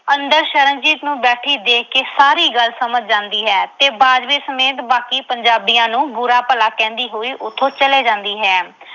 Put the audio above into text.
ਅੰਦਰ ਸ਼ਰਨਜੀਤ ਨੂੰ ਬੈਠੀ ਦੇਖ ਕੇ ਸਾਰੀ ਗੱਲ ਸਮਝ ਜਾਂਦੀ ਹੈ ਤੇ ਬਾਜਵੇ ਸਮੇਤ ਬਾਕੀ ਪੰਜਾਬੀਆਂ ਨੂੰ ਬੁਰਾ-ਭਲਾ ਕਹਿੰਦੀ ਹੋਏ ਉਥੋਂ ਚਲੀ ਜਾਂਦੀ ਹੈ।